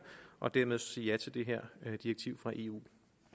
og dermed sige ja til det her direktiv fra eu